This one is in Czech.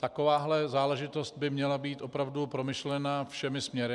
Taková záležitost by měla být opravdu promyšlena všemi směry.